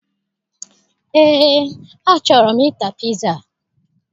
Eé, achọrọ m ịta piza